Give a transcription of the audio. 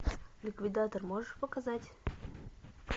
ликвидатор можешь показать